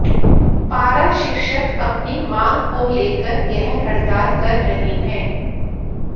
पारा शिक्षक अपनी मांग को लेकर यह हड़ताल कर रहे हैं